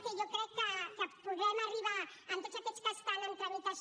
que jo crec que podrem arribar en tots aquests que estan en tramitació